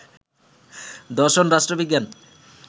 দর্শন, রাষ্ট্রবিজ্ঞান